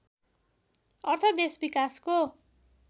अर्थ देश विकासको